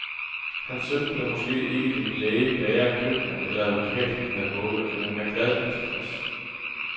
Hans søn blev måske ikke den læge, bager, købmand eller advokat, han havde håbet, men han er glad og tilfreds.